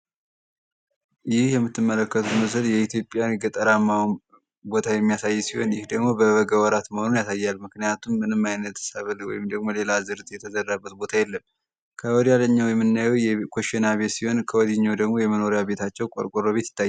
ይህ የምትመለከቱት ምስል የኢትዮጵያን ገጠራማውን ቦታ የሚያሳይ ሲሆን ይህ ደግሞ በበጋ ወራት መሆኑን ያሳያል። ምክንያቱም ምንም አይነት ሰብል ወይም ደግሞ ሌላ ዝርት የተዘረበት ቦታ የለም። ከወዳኛው የምናየው ኮሽና ቤት ሲሆን ከወዲህ ደግሞ የመኖሪያ ቤታቸው ቆርቋሮ ቤት ይታል።